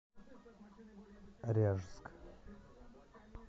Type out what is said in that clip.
ряжск